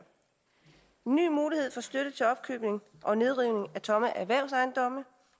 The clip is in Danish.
en ny mulighed for støtte til opkøb og nedrivning af tomme erhvervsejendomme